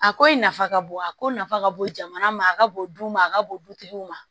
A ko in nafa ka bon a ko nafa ka bon jamana ma a ka bon du ma a ka bon dutigiw ma